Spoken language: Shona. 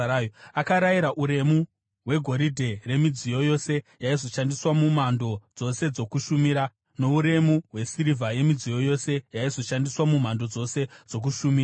Akarayira uremu hwegoridhe remidziyo yose yaizoshandiswa mumhando dzose dzokushumira, nouremu hwesirivha yemidziyo yose yaizoshandiswa mumhando dzose dzokushumira: